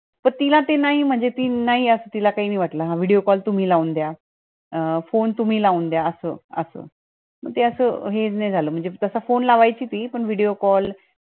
त तिला ते नाही म्हणजे ती नाही असा तिला काही नाही वाटलं video call तुम्ही लाऊन द्या, अ phone तुम्ही लाऊन द्या असं असं, म्हणजे असं हे नाय झालं म्हणजे तसा phone लवाईंची ती पण video call